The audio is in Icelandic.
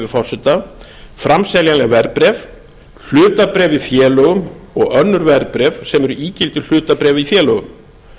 forseta framseljanleg verðbréf hlutabréf í félögum og önnur verðbréf sem eru ígildi hlutabréfa í félögum